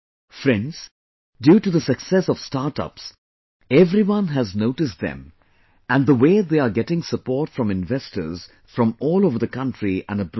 Friends, due to the success of StartUps, everyone has noticed them and the way they are getting support from investors from all over the country and abroad